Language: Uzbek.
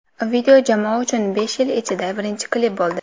Video jamoa uchun besh yil ichidagi birinchi klip bo‘ldi.